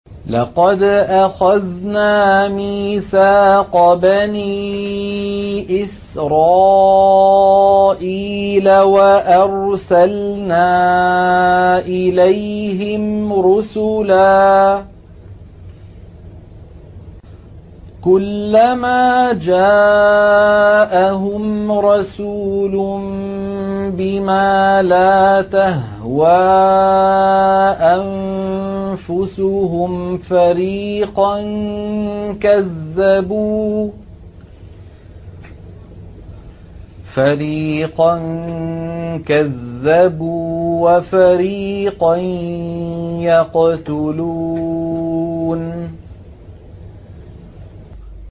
لَقَدْ أَخَذْنَا مِيثَاقَ بَنِي إِسْرَائِيلَ وَأَرْسَلْنَا إِلَيْهِمْ رُسُلًا ۖ كُلَّمَا جَاءَهُمْ رَسُولٌ بِمَا لَا تَهْوَىٰ أَنفُسُهُمْ فَرِيقًا كَذَّبُوا وَفَرِيقًا يَقْتُلُونَ